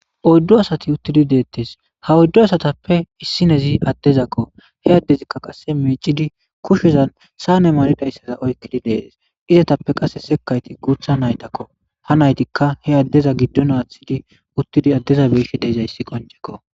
.oydu asati utid detes, ha oydu asatape issinez adeko , ha adezika micishe kushezan saane malizaysaza oykid de'es, izetappe qase sekayti guutha naytako, ha naytika he adeza gidon athid utidi adeza beyishe dizaysi qinceko